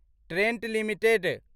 Trent limited